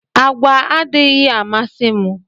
Àgwà adịghị amasi mụ